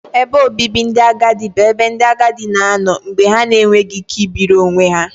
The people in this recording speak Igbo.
Ebe obibi ndị agadi bụ ebe ndị agadi na-anọ mgbe ha na-enweghị ike ibiri onwe ha